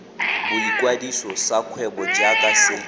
boikwadiso sa kgwebo jaaka se